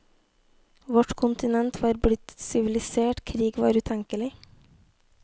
Vårt kontinent var blitt sivilisert, krig var utenkelig.